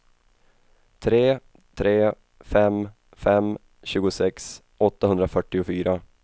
tre tre fem fem tjugosex åttahundrafyrtiofyra